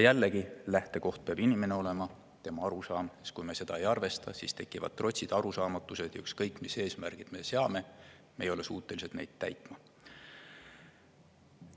Jällegi, lähtekoht peab olema inimene, tema arusaam, sest kui me seda ei arvesta, siis tekivad trots ja arusaamatus, ning ükskõik mis eesmärgid me seame, me ei ole suutelised neid täitma.